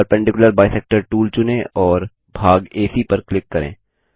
perpendicular bisector tool चुनें और भाग एसी पर क्लिक करें